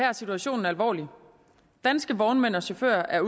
er situationen alvorlig danske vognmænd og chauffører er